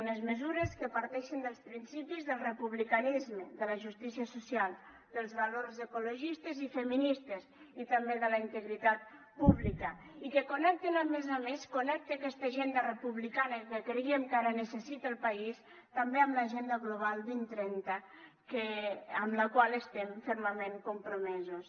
unes mesures que parteixen dels principis del republicanisme de la justícia social dels valors ecologistes i feministes i també de la integritat pública i que connecten a més a més connecta aquesta agenda republicana que creiem que ara necessita el país també amb l’agenda global dos mil trenta amb la qual estem fermament compromesos